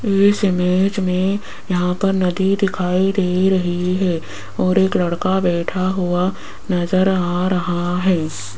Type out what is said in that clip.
इस इमेज में यहां पर नदी दिखाई दे रही हैं और एक लड़का बैठा हुआ नज़र आ रहा है।